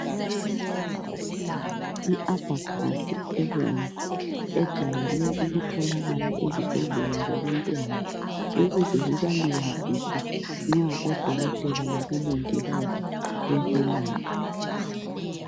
I abhakhasi ebomvu ejayele ukutholakala ezibhedlela zabantwana ukuze zibalibazise nxa odokotela labongikazi bebelapha.